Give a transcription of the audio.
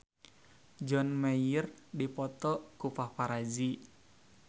John Mayer dipoto ku paparazi